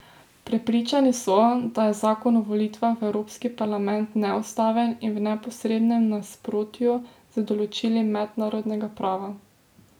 Prepričani so, da je zakon o volitvah v Evropski parlament neustaven in v neposrednem nasprotju z določili mednarodnega prava.